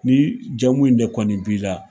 Ni jamu in de kɔni b'i la.